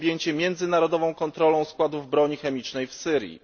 objęcie międzynarodową kontrolą składów broni chemicznej w Syrii.